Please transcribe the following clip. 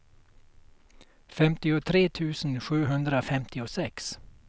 femtiotre tusen sjuhundrafemtiosex